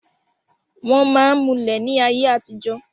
wọ́n máa ń mulẹ̀ ní ayé àtijọ́